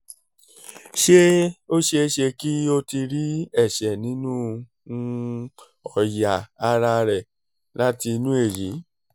ṣé ó ṣeé ṣe kí ó ti rí ẹ̀ṣẹ̀ nínú um ọ̀yà ara rẹ̀ láti inú èyí